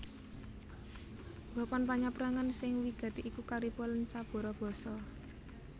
Papan panyabrangan sing wigati iku Kariba lan Cabora Bassa